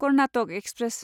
Karnataka express